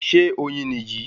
Ṣé oyin ní yí?